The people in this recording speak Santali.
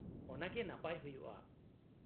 -ᱚᱱᱟᱜᱮ ᱱᱟᱯᱟᱭ ᱦᱩᱭᱩᱜᱼᱟ ᱾